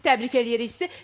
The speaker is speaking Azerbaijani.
Təbrik edirik sizi.